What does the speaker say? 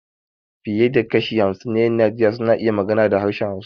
Fiye da kashi hamsin na ƴan Najeriya suna iya magana da harshen Hausa.